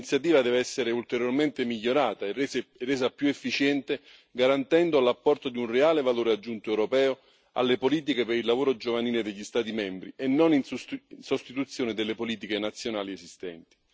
Questa iniziativa deve essere ulteriormente migliorata e resa più efficiente, garantendo l'apporto di un reale valore aggiunto europeo alle politiche per il lavoro giovanile degli Stati membri, e non in sostituzione delle politiche nazionali esistenti.